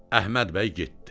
Əhməd bəy getdi.